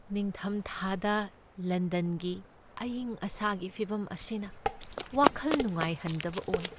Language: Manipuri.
ꯅꯤꯡꯊꯝꯊꯥꯗ ꯂꯟꯗꯟꯒꯤ ꯑꯢꯪ ꯑꯁꯥꯒꯤ ꯐꯤꯚꯝ ꯑꯁꯤꯅ ꯋꯥꯈꯜ ꯅꯨꯡꯉꯥꯏꯍꯟꯗꯕ ꯑꯣꯏ ꯫